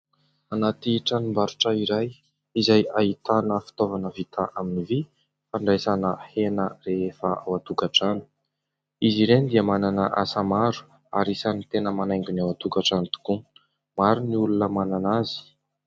Anaty tranombarotra iray izay ahitana fitaovana vita amin'ny vy fandraisana hena rehefa ao-tokantrano. Izy ireny dia manana asa maro ary isan'ny tena manaingo ny ao an-tokantrano tokoa. Maro ny olona manana azy.